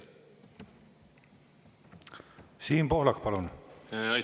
Siim Pohlak, palun!